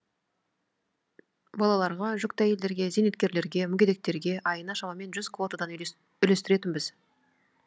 балаларға жүкті әйелдерге зейнеткерлерге мүгедектерге айына шамамен жүз квотадан үлестіретінбіз